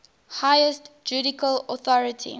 highest judicial authority